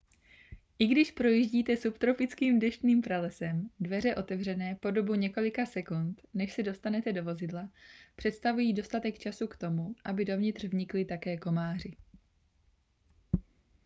i když projíždíte subtropickým deštným pralesem dveře otevřené po dobu několika sekund než se dostanete do vozidla představují dostatek času k tomu aby dovnitř vnikli také komáři